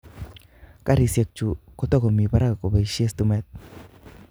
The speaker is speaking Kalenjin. Karisiek chu kotorkomii parak koboisie stimet.